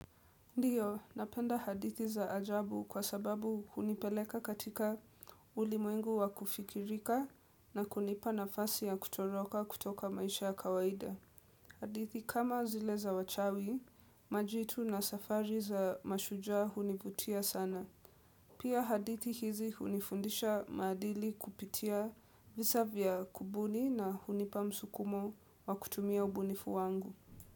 Ndiyo, napenda hadithi za ajabu kwa sababu hunipeleka katika ulimwengu wa kufikirika na kunipa nafasi ya kutoroka kutoka maisha ya kawaida. Hadithi kama zile za wachawi, majitu na safari za mashujaa hunivutia sana. Pia hadithi hizi hunifundisha maadili kupitia visa vya kubuni na hunipa msukumo wa kutumia ubunifu wangu.